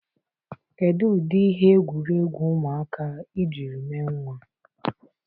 Kedu ụdị ihe egwuregwu ụmụaka ị jiri mee nwa?